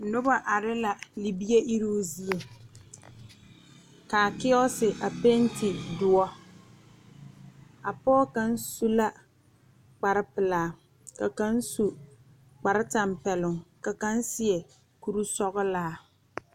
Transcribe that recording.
Noba are la libie iruŋ zeɛ kaa keose a pente doɔ a pɔge kaŋ su la kpar pelaa ka kaŋ su kpar tampɛloŋ ka kaŋ su kpar sɔglaa.